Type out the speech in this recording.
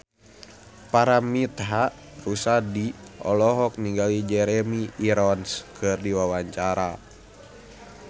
Paramitha Rusady olohok ningali Jeremy Irons keur diwawancara